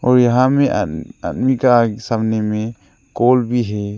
और यहां में आदमी का सामने में कोल भी है।